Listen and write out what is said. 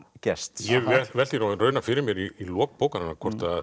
Gests ég velti því nú raunar fyrir mér í lok bókarinnar hvort